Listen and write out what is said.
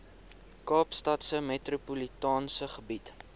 kaapstadse metropolitaanse gebied